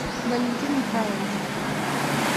валентин михайлович